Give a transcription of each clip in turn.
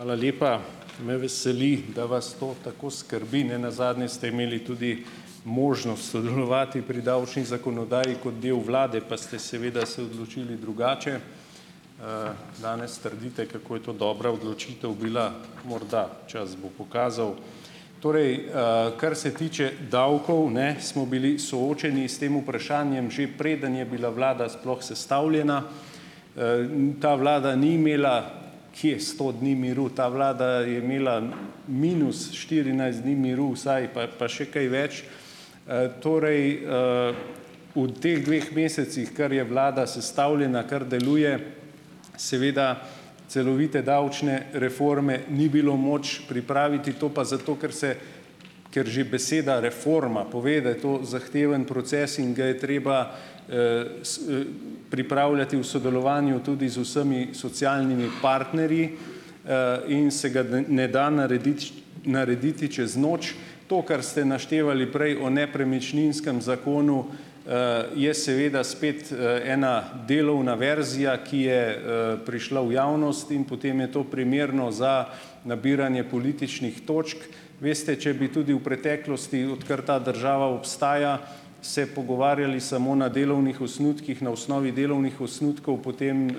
Hvala lepa. Me veseli, da vas to tako skrbi. Nenazadnje ste imeli tudi možnost sodelovati pri davčni zakonodaji kot del vlade, pa ste seveda se odločili drugače. Danes trdite, kako je to dobra odločitev bila morda, čas bo pokazal. Torej, kar se tiče davkov, ne, smo bili soočeni s tem vprašanjem že, preden je bila vlada sploh sestavljena. Ta vlada ni imela, kje, sto dni miru. Ta vlada je imela minus štirinajst dni miru vsaj, pa pa še kaj več. Torej, v teh dveh mesecih, kar je vlada sestavljena, kar deluje, seveda celovite davčne reforme ni bilo moč pripraviti, to pa zato, ker se ker že beseda reforma pove, da je to zahteven proces in ga je treba pripravljati v sodelovanju tudi z vsemi socialnimi partnerji, in se ga, ne da narediti narediti čez noč. To, kar ste naštevali prej o nepremičninskem zakonu, je seveda spet, ena delovna verzija, ki je, prišla v javnost in potem je to primerno za nabiranje političnih točk. Veste, če bi tudi v preteklosti, odkar ta država obstaja, se pogovarjali samo na delovnih osnutkih, na osnovi delovnih osnutkov, potem,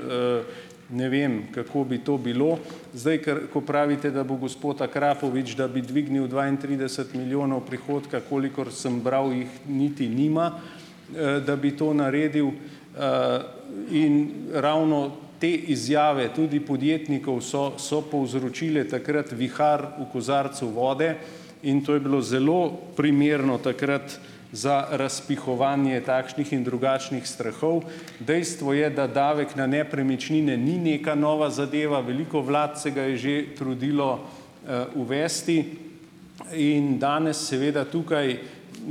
ne vem, kako bi to bilo. Zdaj, kar, kot pravite, da bo gospod Akrapovič da bi dvignil dvaintrideset milijonov prihodka, kolikor sem bral, jih niti nima, da bi to naredil. In ravno te izjave tudi podjetnikov so so povzročile takrat vihar v kozarcu vode in to je bilo zelo primerno takrat za razpihovanje takšnih in drugačnih strahov. Dejstvo je, da davek na nepremičnine ni neka nova zadeva, veliko vlad se ga je že trudilo, uvesti. In danes seveda tukaj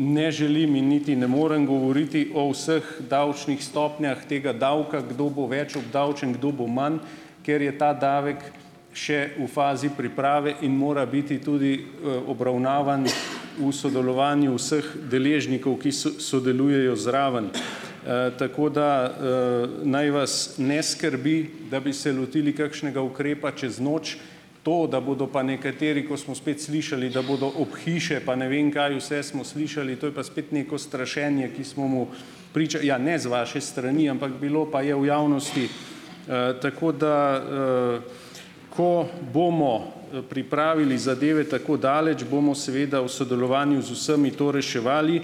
ne želim in niti ne morem govoriti o vseh davčnih stopnjah tega davka, kdo bo več obdavčen, kdo bo manj, ker je ta davek še v fazi priprave in mora biti tudi, obravnavan v sodelovanju vseh deležnikov, ki sodelujejo zraven. Tako da, naj vas ne skrbi, da bi se lotili kakšnega ukrepa čez noč. To, da bodo pa nekateri, ko smo spet slišali, da bodo ob hiše pa ne vem kaj vse smo slišali, to je pa spet neko strašenje, ki smo mu priče, ja, ne z vaše strani, ampak bilo pa je v javnosti. Tako da, Ko bomo pripravili zadeve tako daleč, bomo seveda v sodelovanju z vsemi to reševali.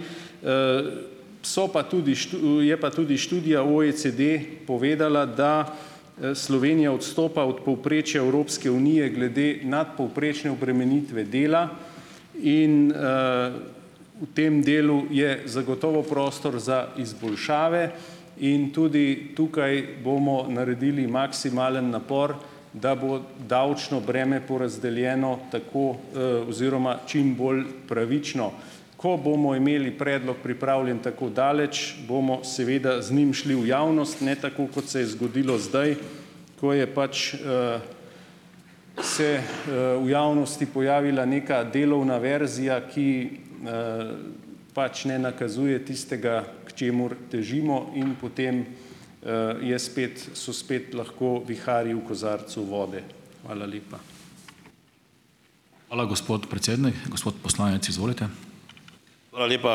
So pa tudi je pa tudi študija OECD povedala, da, Slovenija odstopa od povprečja Evropske unije glede nadpovprečne obremenitve dela. In, v tem delu je zagotovo prostor za izboljšave in tudi tukaj bomo naredili maksimalen napor, da bo davčno breme porazdeljeno tako, oziroma čim bolj pravično. Ko bomo imeli predlog pripravljen tako daleč, bomo seveda z njim šli v javnost, ne, tako kot se je zgodilo zdaj, ko je pač, se, v javnosti pojavila neka delovna verzija, ki, pač ne nakazuje tistega, k čemur težimo, in potem, je spet so spet lahko viharji v kozarcu vode. Hvala lepa.